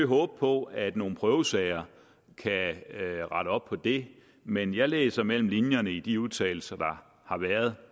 håbe på at nogle prøvesager kan rette op på det men jeg læser mellem linjerne i de udtalelser der har været